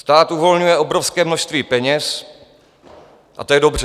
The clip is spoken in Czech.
Stát uvolňuje obrovské množství peněz a to je dobře.